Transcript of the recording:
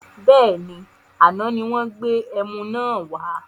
Bẹ́ẹ̀ni, àná ni wọn gbé ẹmu náà wà